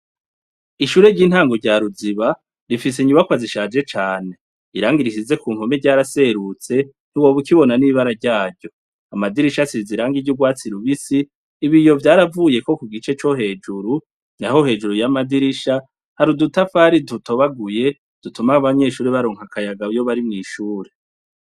Ishure ryintango rya ruziba rifise inyubakwa zishaje cane irangi risize kumpome ryaraserutse ntiwoba ukibona nibara ryaryo amadirisha asize irangi ryurwatsi rubisi ibiyo vyaravuyeko kugice cohejuru naho hejuru yamadirisha hari udutafari dutobaguye dutuma abanyeshure baronka akayaga iyobari mwishure